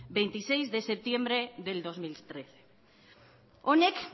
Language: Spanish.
veintiséis de septiembre del dos mil trece honek